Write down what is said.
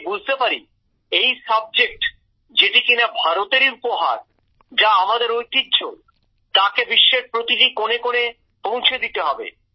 আমি বুঝতে পারি এই বিষয় যেটি কিনা ভারতেরই উপহার যা আমাদের ঐতিহ্য তাকে বিশ্বের প্রতিটি কোণে কোণে পৌঁছে দিতে হবে